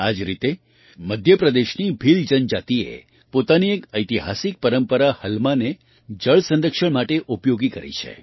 આ જ રીતે મધ્ય પ્રદેશની ભીલ જનજાતિએ પોતાની એક ઐતિહાસિક પરંપરા હલમાને જળ સંરક્ષણ માટે ઉપયોગ કરી છે